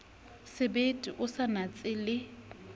sebete o sa natse le